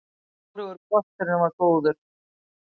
Hvorugur kosturinn var góður.